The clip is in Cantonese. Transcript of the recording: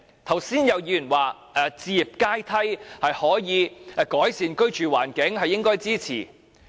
剛才有議員說，置業階梯可以改善居住環境，應該予以支持。